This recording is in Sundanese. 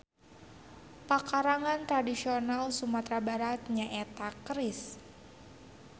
Pakarang tradisional Sumatra Barat nyaeta Keris.